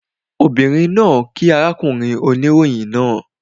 Obìnrin náà kíí arákùnrin oníròyìn náà